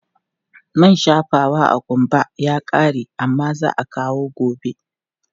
Man shafawa a ƙumba ya ƙare amma za a kawo gobe.